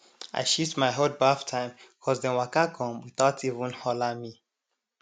i shift my hot baff time cos dem waka come without even holler me